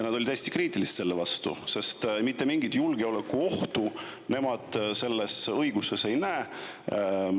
Nad olid kriitilised selle suhtes, sest mitte mingit julgeolekuohtu nemad selles õiguses ei näe.